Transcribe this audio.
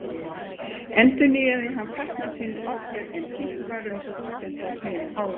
Endurnýjaði hann fatnað sinn oftar en títt var um stúdenta á þeim árum.